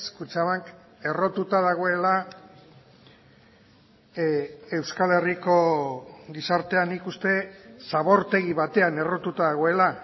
kutxabank errotuta dagoela euskal herriko gizartean nik uste zabortegi batean errotuta dagoela